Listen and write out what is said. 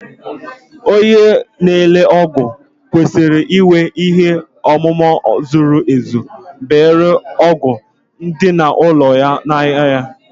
Onye na-ere ọgwụ kwesịrị inwe ihe ọmụma zuru ezu banyere ọgwụ ndị dị na ụlọ ahịa ya